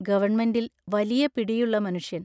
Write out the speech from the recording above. ഗവൺമെൻറിൽ വലിയ പിടിയുള്ള മനുഷ്യൻ.